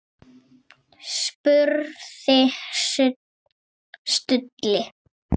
spurði Stulli.